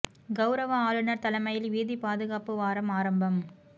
கௌரவ ஆளுநர் தலைமையில் வீதிபாதுகாப்பு வாரம் ஆரம்பம்